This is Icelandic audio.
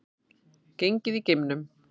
Gengið í geimnum